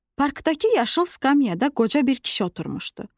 Parkdakı yaşıl skamyada qoca bir kişi oturmuşdu.